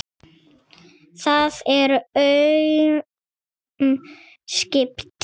Það eru aum skipti.